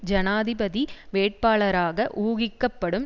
ஜனாதிபதி வேட்பாளராக ஊகிக்கப்படும்